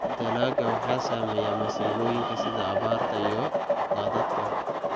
Dalagga waxaa saameeya masiibooyinka sida abaarta iyo daadadka.